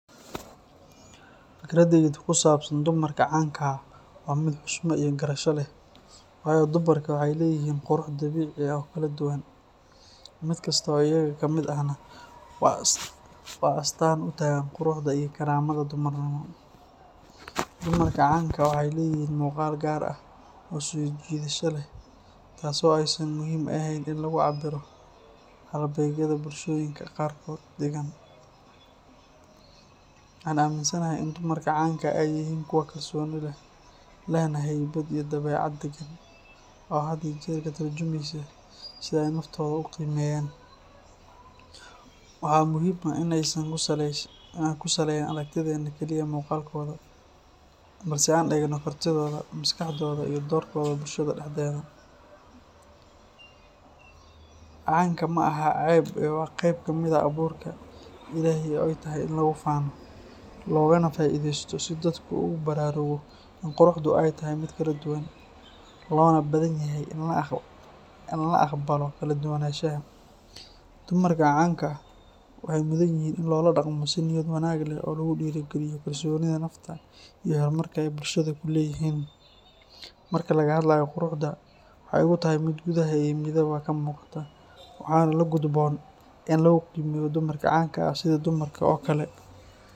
Fikraddaydu ku saabsan dumarka canka ah waa mid xushmad iyo garasho leh, waayo dumarku waxay leeyihiin qurux dabiici ah oo kala duwan, mid kasta oo iyaga ka mid ahna waa astaan u taagan quruxda iyo karaamada dumarnimo. Dumarka canka ah waxay leeyihiin muuqaal gaar ah oo soo jiidasho leh, taasoo aysan muhiim ahayn in lagu cabbiro halbeegyada bulshooyinka qaarkood dhigaan. Waxa aan aaminsanahay in dumarka canka ah ay yihiin kuwo kalsooni leh, lehna haybad iyo dabeecad deggan oo had iyo jeer ka tarjumeysa sida ay naftooda u qiimeeyaan. Waxaa muhiim ah in aynaan ku salayn aragtideenna kaliya muuqaalkooda, balse aan eegno kartidooda, maskaxdooda, iyo doorkooda bulshada dhexdeeda. Canka ma aha ceeb ee waa qeyb ka mid ah abuurka Ilaahay oo ay tahay in lagu faano, loogana faa’iidaysto si dadku ugu baraarugo in quruxdu ay tahay mid kala duwan, loona baahanyahay in la aqbalo kala duwanaanshaha. Dumarka canka ah waxay mudanyihiin in loola dhaqmo si niyad wanaag leh oo lagu dhiirrigeliyo kalsoonida nafta iyo horumarka ay bulshada ku leeyihiin. Marka laga hadlayo quruxda, waxay igu tahay mid gudaha iyo dibaddaba ka muuqata, waxaana la gudboon in lagu qiimeeyo dumarka canka ah sidii dumarka kale oo kale.